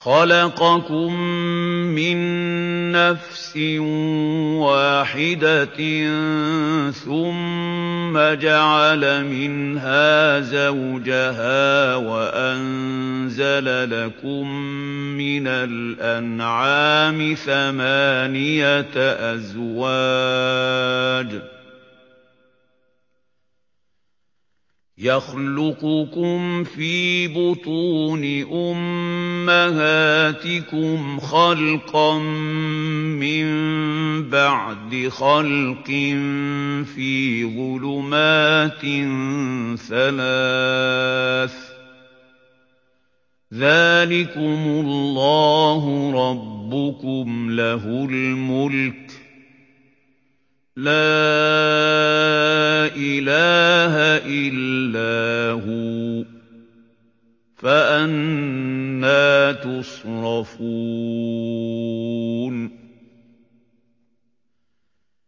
خَلَقَكُم مِّن نَّفْسٍ وَاحِدَةٍ ثُمَّ جَعَلَ مِنْهَا زَوْجَهَا وَأَنزَلَ لَكُم مِّنَ الْأَنْعَامِ ثَمَانِيَةَ أَزْوَاجٍ ۚ يَخْلُقُكُمْ فِي بُطُونِ أُمَّهَاتِكُمْ خَلْقًا مِّن بَعْدِ خَلْقٍ فِي ظُلُمَاتٍ ثَلَاثٍ ۚ ذَٰلِكُمُ اللَّهُ رَبُّكُمْ لَهُ الْمُلْكُ ۖ لَا إِلَٰهَ إِلَّا هُوَ ۖ فَأَنَّىٰ تُصْرَفُونَ